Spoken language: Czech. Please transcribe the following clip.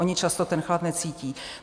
Oni často ten chlad necítí.